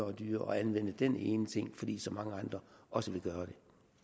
og dyrere at anvende den ene ting fordi så mange andre også vil gøre